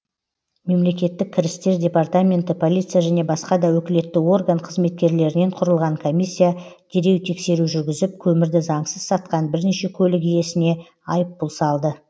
мемлекеттік кірістер департаменті полиция және басқа да өкілетті орган қызметкерлерінен құрылған комиссия дереу тексеру жүргізіп көмірді заңсыз сатқан бірнеше көлік иесіне айыппұл салды